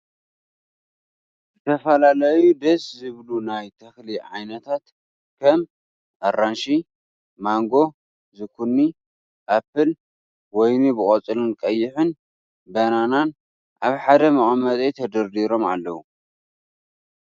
ዝተፈላለዩ ደስ ዝብሉ ናይ ተክሊ ዓይነታት ከም ኣራንሺ፣ ማንጎ ፣ዝኩኒ፣ ኣፕል፣ ወይኒ ብቆፃልን ቀይሕን ፣ በነናን ኣብ ሓደ መቀመጢ ተደርዲሮም ኣለዉ።